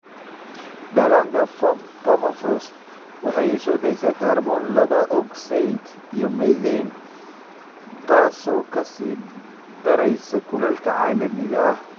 Dhallaanka permafrost waxa ay soo daysaa kaarboon laba ogsaydh iyo methane, taas oo ka sii daraysa kulaylka caalamiga ah.